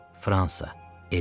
Fransa, Elzas.